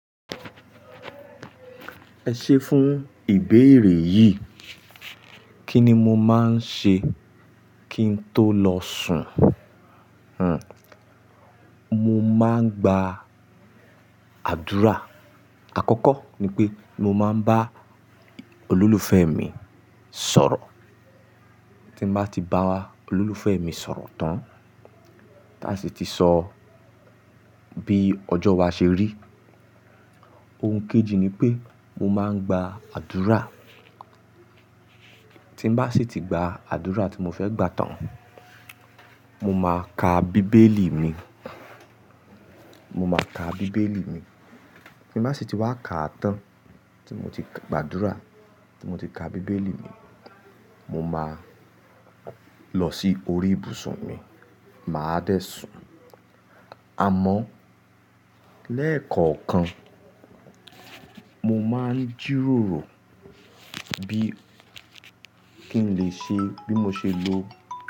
Ẹ ṣé fún ìbéèrè yìí, kí ni mo máa ń ṣe kí n tó lọ sùn? Hmm, mo máa ń gba àdúrà. Àkọ́kọ́ ni pé mo máa ń bá olólùfẹ́ mi sọ̀rọ̀. Tí mo bá ti bá a, olólùfẹ́ mi sọ̀rọ̀ tán, táa sì ti sọ bí ọjọ́ wa ṣe rí. Ohun kejì ni pé mo máa ń gba àdúrà. Tí mo bá sì ti gba àdúrà tí mo fẹ́ gbà tán, mo máa ka bíbélì mi, mo máa ka bíbélì mi. Tí mo bá sì ti wá ka tán, tí mo ti gba àdúrà, tí mo ti ka bíbélì mi, mo máa lọ sí orí ìbùsùn mi, màá dẹ̀ sùn. Àmọ́ lẹ́ẹ̀kọ̀ọ̀kan, mo máa ń jíròrò bí kí n lè ṣe, bí mo ṣe lo.